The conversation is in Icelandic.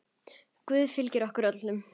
Góður Guð fylgi ykkur öllum.